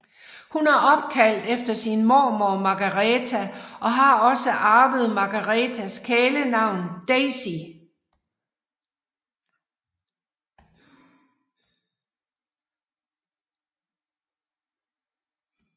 Hun er opkaldt efter sin mormor Margareta og har også arvet Margaretas kælenavn Daisy